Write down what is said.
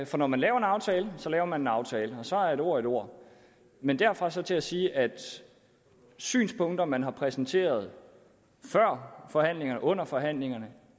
for når man laver en aftale så laver man en aftale og så er et ord et ord men derfra og så til at sige at de synspunkter som man har præsenteret før forhandlingerne og under forhandlingerne